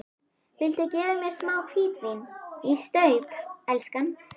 Viltu gefa mér smá hvítvín í staup, elskan?